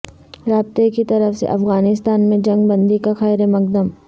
رابطہ کی طرف سے افغانستان میں جنگ بندی کا خیر مقدم